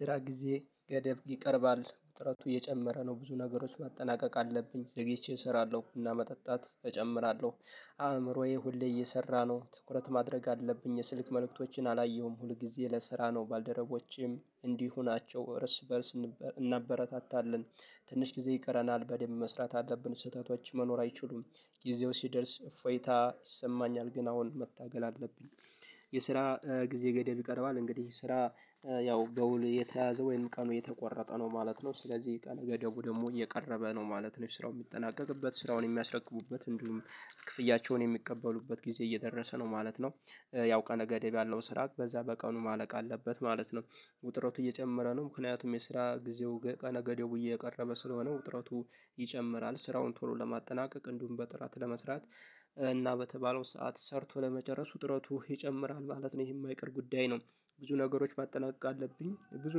ስራ ጊዜ ገደብ ይቀርባል ጥረቱ እየጨመረ ነው ብዙ ነገሮች ማጠናቀቅ አለብኝ ዘግይቼ እሰራለው እና መጠጣት እጨምራለው። አእምሮዬ ሁሌ እየሰራ ነው ትኩረት ማድረግ አለብኝ የስልክ መልእክቶችን አላየሁም። ሁልጊዜ ለስራ ነው ባልደረቦቼም እንዲሁ ናቸው እርስ በእርስ እናበረታታለን። ትንሽ ጊዜ ይቀረናል በደንብ መስራት አለብን ስህተቶች መኖር አይችሉም። ጊዜው ሲደርስ እፎይታ ይሰማኛል ግን አሁን መታገል አለብኝ። የስራ ጊዜ ገደብ ይቀርባል እንግዲህ ስራ ያው በውል የተያዘ ወይም ቀኑ የተቆረጠ ነው ማለት ነው። ስለዚ ቀነ ገደቡ ደሞ እየቀረበ ነው ማለት ለስራው ሚጠናቀቅበት ስራውን የሚያስረክቡበት እንዲሁም ክፍያቸውን የሚቀበሉበት ጊዜ እየደረሰ ነው ማለት ነው። ያው ቀነ ገደብ ያለው ስራ በዛ በቀኑ ማለቅ አለበት ማለት ነው። ውጥረቱ እየጨመረ ነው። ምክንያቱም የስራ ጊዜው ቀነ ገደቡም እየቀረበ ስለሆነ ውጥረቱ ይጨምራል ስራውን ቶሎ ለማጠናቀቅ እንዲውም በጥራት ለመስራት። እና በተባለው ሰዓት ሰርቶ ለመጨረሱ ጥረቱ ይጨምራል ማለት ነው ይህ የማይቀር ጉዳይ ነው። ብዙ ነገሮች ማጠናቀቅ አለብኝ ብዙ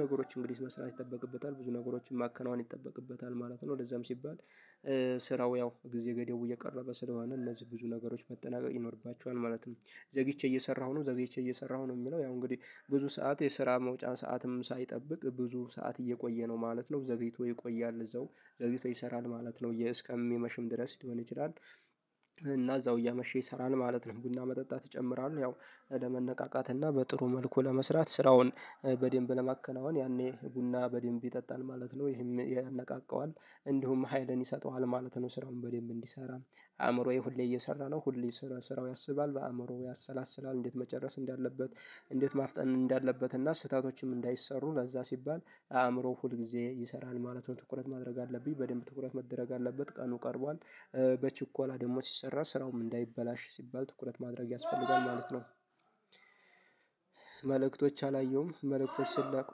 ነገሮች እንግዲህ መስራት ይጠበቅበታል ብዙ ነገሮችን ማከናወን ይጠበቅበታል ማለት ነው። ለዛም ሲባል ስራው ያው ጊዜ ገደቡ እየቀረበ ስለሆነ እነዚ ብዙ ነገሮች መጠናቀቅ ይኖርባቸዋል ማለት ነው። ዘግይቼ እየሰራሁ ነው ዘግይቼ እየሰራሁ ነው ሚለው ያው እንግዲ ብዙ ሰዓት የስራ መውጫ ሰዓትም ሳይጠብቅ ብዙ ሰዓት እየቆየ ነው ማለት ነው ዘግይቶ ይቆያል እዛው ዘግይቶ ይሰራል ማለት ነው እስከሚመሽም ድረስ ሊሆን ይችላል። እና እዛው እያመሸ ይሰራል ማለት ነው ቡና መጠጣት ይጨምራል። ያው ለመነቃቃት እና በጥሩ መልኩ ለመስራት ስራውን በደንብ ለማከናወን ያኔ ቡና በደንብ ይጠጣል ማለት ነው ይሄም ያነቃቃዋል። እንዲሁም ሀይልን ይሰጠዋል ማለት ነው። ስራውን በደንብ እንዲሰራ አእምሮዬ ሁሌ እየሰራ ነው ሁሌ ስለስራው ያስባል በአእምሮ ያሰላስላል እንዴት መጨረስ እንዳለበት። እንዴት ማፍጠን እንዳለበት እና ስህተቶችም እንዳይሰሩ ለዛ ሲባል አእምሮ ሁል ጊዜ ይሰራል ማለት ነው። ትኩረት ማድረግ አለብኝ በደንብ ትኩረት መደረግ አለበት ቀኑ ቀርቧል። በችኮላ ደሞ ሲሰራ ስራውም እንዳይበላሽ ሲባል ትኩረት ማድረግ ያስፈልጋል ማለት ነው። መልእክቶች አላየሁም መልእክቶች ሲላኩ።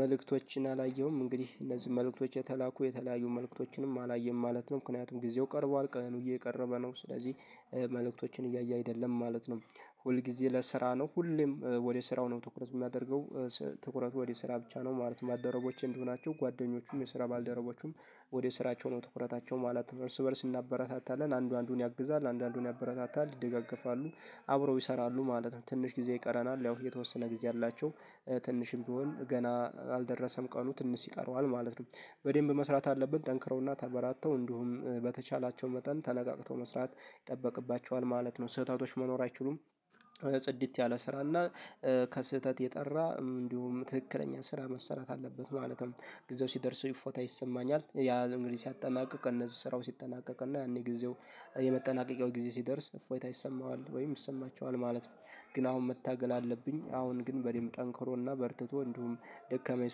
መልእክቶችን አላየሁም እንግዲህ እነዚህ መልእክቶችን የተላኩ የተለያዩ መልእክቶችንም አላየም ማለት ነው። ምክንያቱም ጊዜው ቀርቧል ቀኑ እየቀረበ ነው ስለዚህ መልእክቶችን እያየ አይደለም ማለት ነው። ሁል ጊዜ ለስራ ነው ሁሌም ወደ ስራው ነው ትኩረት ሚያደርገው። ትኩረት ወደ ስራ ብቻ ነው ማለት ነው። ባልደረቦቼ እንዲሆናቸው ጓደኞቹም የስራ ባልደረቦቹም ወደ ስራቸው ነው ትኩረታቸው ማለት በእርስ በእርስ እናበረታታለን አንዱ አንዱን ያግዛል አንዱ አንዱን ያበረታታል ይደገፋሉ። አብረው ይሰራሉ ማለት ነው። ትንሽ ጊዜ ይቀረናል ያው የተወሰነ ጊዜ አላቸው። ትንሽም ቢሆን ገና አልደረሰም ቀኑ ትንሽ ይቀረዋል ማለት ነው። በደንብ መስራት አለብን ጠንክረውና ተበራተው እንዲሁም በተቻላቸው መጠን ተነቃቅተው መስራት ይጠበቅባቸዋል ማለት ነው። ስህተቶች መኖር አይችሉም። ጽድት ያለ ስራ እና ከስህተት የጠራ እንዲሁም ትክክለኛ ስራ መሰራት አለበት። ማለትም ጊዜው ሲደርስ እይፎታ ይሰማኛል ያ እንግዲህ ሲያጠናቅቅ እነዚህ ስራው ሲጠናቀቅ እና ያኔ ጊዜው የመጠናቀቂያው ጊዜ ሲደርስ እፎይታ ይሰማዋል ወይም ይሰማቸዋል ማለት ነው። ግን አሁን መታገል አለብኝ። አሁን ግን በደንብ ጠንክሮና በርትቶ እንዲሁም ደከመኝ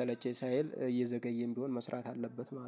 ሰለቸኝ ሳይል እየዘገየም ቢሆን መስራት አለበት ማለት ነው